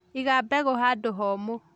Iga mbegu handũ homu.